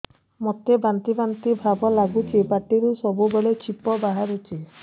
ମୋତେ ବାନ୍ତି ବାନ୍ତି ଭାବ ଲାଗୁଚି ପାଟିରୁ ସବୁ ବେଳେ ଛିପ ବାହାରୁଛି